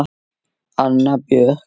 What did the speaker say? Anna Björk.